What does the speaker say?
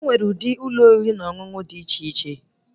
Enwere ụdị Ụlọ oriri na ọṅụṅụ dị iche iche